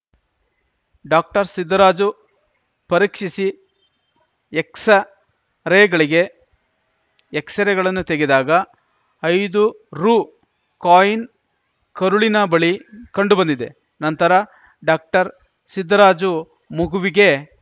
ಡಾಕ್ಟರ್ಸಿದ್ದರಾಜು ಪರೀಕ್ಷಿಸಿ ಎಕ್ಸ್‌ರೇಗಳಿಗೆಎಕ್ಸ್‌ರೇಗಳನ್ನು ತೆಗೆದಾಗ ಐದು ರು ಕಾಯಿನ್‌ ಕರುಳಿನ ಬಳಿ ಕಂಡು ಬಂದಿದೆ ನಂತರ ಡಾಕ್ಟರ್ಸಿದ್ದರಾಜು ಮಗುವಿಗೆ